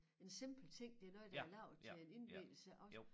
En simpel ting det noget der er lavet til en indvielse også